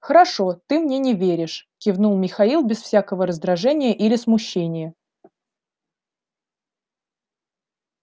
хорошо ты мне не веришь кивнул михаил без всякого раздражения или смущения